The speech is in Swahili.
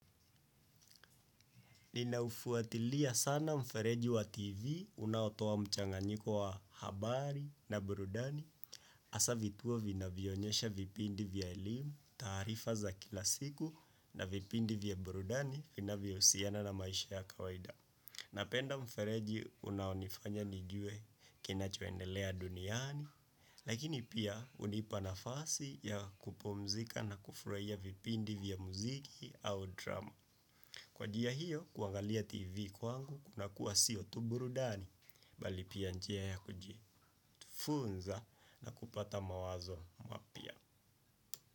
Nina ufuatilia sana mfereji wa TV unaotoa mchanganyiko wa habari na burudani hasa vituo vinavyoonyesha vipindi vya elimu, taarifa za kila siku na vipindi vya burudani vinavyohusiana na maisha ya kawaida. Napenda mfereji unaonifanya nijue kinachoendelea duniani. Lakini pia hunipa nafasi ya kupumzika na kufurahia vipindi vya muziki au drama. Kwa njia hiyo, kuangalia tv kwangu, kuna kuwa sio tu burudani, bali pia njia ya kujifunza na kupata mawazo mapya.